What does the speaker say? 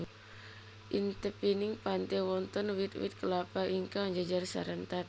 Ing tepining pante wonten wit wit klapa ingkang jejer sarentet